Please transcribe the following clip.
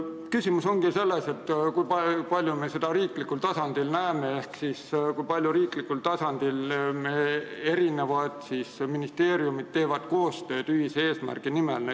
Küsimus ongi selles, kui palju me näeme seda kõike riiklikul tasandil ehk kui palju teevad meie ministeeriumid koostööd ühise eesmärgi nimel.